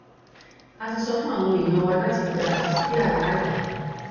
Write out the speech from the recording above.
a ti sọ fún àwọn èèyàn wa láti gba àlàáfíà láàyè